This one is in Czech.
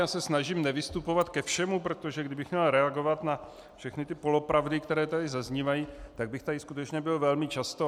Já se snažím nevystupovat ke všemu, protože kdybych měl reagovat na všechny ty polopravdy, které tady zaznívají, tak bych tady skutečně byl velmi často.